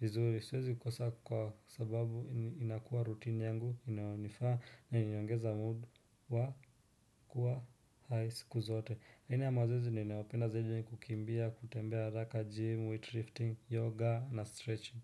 vizuri. Siwezi kosa kwa sababu inakuwa rutini yangu inayonifaa na inaniongeza mood wa kuwa high siku zote. Aina ya mazoezi ninayopenda zaidi ni kukimbia, kutembea haraka gym, weightlifting, yoga na stretching.